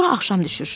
Sonra axşam düşür.